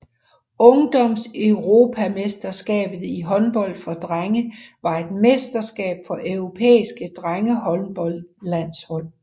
Ungdomseuropamesterskabet i håndbold for drenge var et mesterskab for europæiske drengehåndboldlandshold